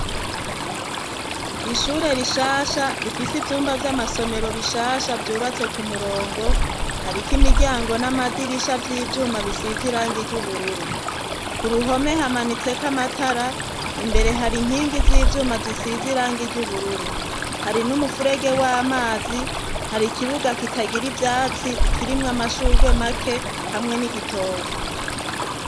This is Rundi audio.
ishure rishasha rifise ivyumba vy'amasomero bishasha vyubatse ku murongo, hariko imiryango n'amadirisha vy'ivyuma bisize irange ry'ubururu. ku ruhome hamanitse ko amatara, imbere hari inkingi z'ivyuma zisize irange ry'ubururu. hari n'umufurege w'amazi, hari ikibuga kitagira ivyatsi kirimwo amashurwe make, hamwe n'igitoke.